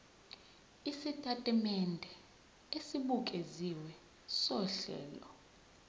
isitatimende esibukeziwe sohlelo